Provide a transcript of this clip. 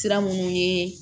Sira minnu ye